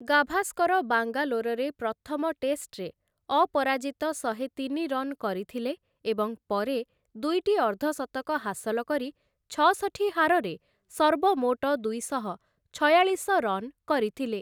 ଗାଭାସ୍କର ବାଙ୍ଗାଲୋରରେ ପ୍ରଥମ ଟେଷ୍ଟରେ ଅପରାଜିତ ଶହେ ତିନି ରନ୍ କରିଥିଲେ ଏବଂ ପରେ ଦୁଇଟି ଅର୍ଦ୍ଧଶତକ ହାସଲ କରି ଛଅଷଠି ହାରରେ ସର୍ବମୋଟ ଦୁଇଶହ ଛୟାଳିଶ ରନ୍‌ କରିଥିଲେ ।